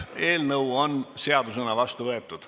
Eelnõu on seadusena vastu võetud.